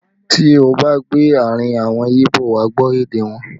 Tí ó bá gbé àárín àwọn Ibo, wà á gbọ́ èdè wọn